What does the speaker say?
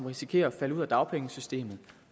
risikerer at falde ud af dagpengesystemet